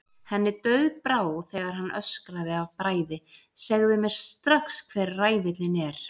Henni dauðbrá þegar hann öskraði af bræði: Segðu mér strax hver ræfillinn er.